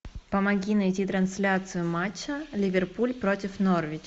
помоги найти трансляцию матча ливерпуль против норвич